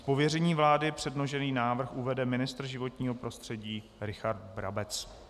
Z pověření vlády předložený návrh uvede ministr životního prostředí Richard Brabec.